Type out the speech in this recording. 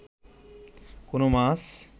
কোনো মাছ